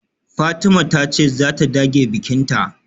Fatima tace zata dage bikinta